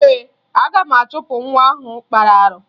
Ee, aga m achụpụ nwa ahụ kpara arụ